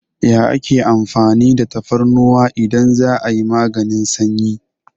Ya ake amfani da tafarnuwa idan za'a yi maganin sanyi?